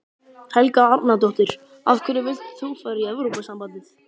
Helga Arnardóttir: Af hverju vilt þú fara í Evrópusambandið?